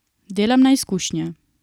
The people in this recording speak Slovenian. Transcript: Delam na izkušnje.